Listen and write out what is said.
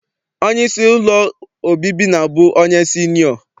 Onyeisi ụlọ obibi na-abụ onye sinịọ.